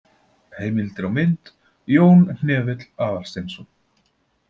Heimildir og mynd: Jón Hnefill Aðalsteinsson.